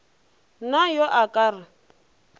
na yo a ka re